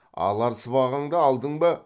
алар сыбағаңды алдың ба